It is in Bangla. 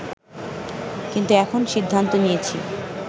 কিন্তু এখন সিদ্ধান্ত নিয়েছি